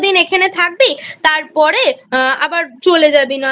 পনেরো দিন এখানে থাকবি তারপরে আবার চলে যাবি নয়।